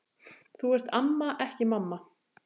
Þú ert amma, ekki mamma.